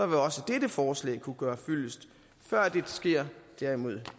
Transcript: vil også dette forslag kunne gøre fyldest før dette sker derimod